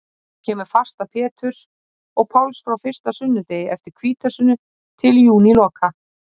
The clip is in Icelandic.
Síðan kemur fasta Péturs og Páls frá fyrsta sunnudegi eftir hvítasunnu til júníloka.